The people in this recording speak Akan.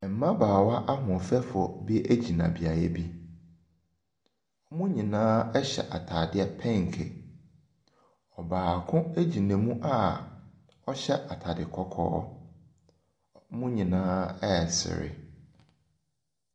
Mmabaawa ahoɔfɛfoɔ bi gyina beaeɛ bi. Wɔn nyina hyɛ atadeɛ penke. Ɛbaako gyina mu a ɔhyɛ atade kɔkɔɔ. Wɔn nyinaa resere.